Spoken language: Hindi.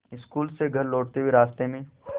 स्कूल से घर लौटते हुए रास्ते में